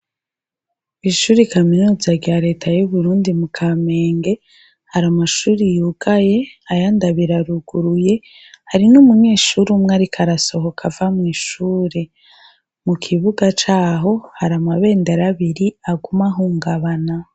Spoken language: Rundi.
Ishuri kaminuza rya Leta y'Uburundi mu Kamenge, hari amashuri yugaye, ayandi abiri aruguruye. Hari n'umunyeshure umwe ariko arasohoka ava mw'ishure. Mu kibuga caho hari amabendera abiri aguma ahungabana.